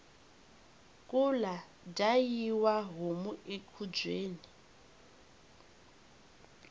kula dyayiwa homu ekhubyeni